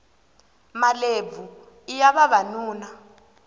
malebvu iya vavanuna